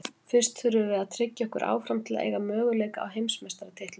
Fyrst þurfum við að tryggja okkur áfram til að eiga möguleika á heimsmeistaratitlinum.